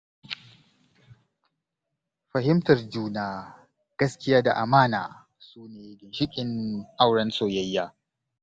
Fahimtar juna, gaskiya da amana su ne ginshiƙan auren soyaya.